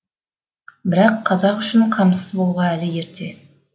бірақ қазақ үшін қамсыз болуға әлі ерте